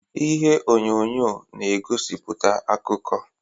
Ihe onyonyo na-egosiputa akụkọ.